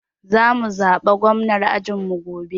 Za mu zaɓa gwamnar ajin mu gobe.